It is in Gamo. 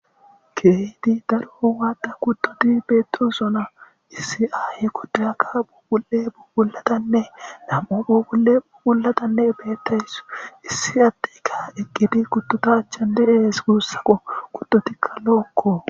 Keehi waada kuttoti beetozona issi ai kotoyaka bubul7e bubulatanne namoo bubu7e bubullatanne beettaysu issi attekka eqqidi kuttotaachan dehees guussaqo kuttotikka lookko.